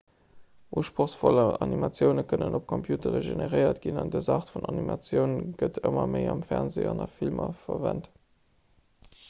usprochsvoll animatioune kënnen op computere generéiert ginn an dës aart vun animatioun gëtt ëmmer méi am fernsee an a filmer verwent